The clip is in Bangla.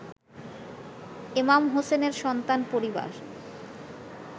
এমাম হোসেনের সন্তান পরিবার